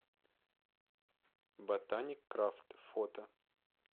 ботаник крафт фото